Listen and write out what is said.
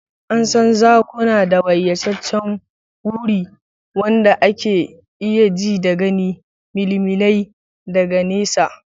An san zakuna da bayyaceccen ruri, wanda ake iya ji daga milimilai daga nesa.